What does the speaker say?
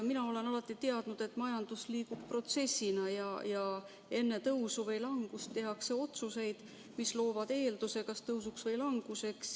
Mina olen alati teadnud, et majandus liigub protsessina ja enne tõusu või langust tehakse otsuseid, mis loovad eelduse kas tõusuks või languseks.